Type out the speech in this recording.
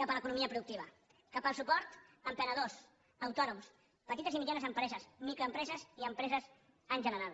cap a l’economia productiva cap al suport a emprenedors autònoms petites i mitjanes empreses microempreses i empreses en general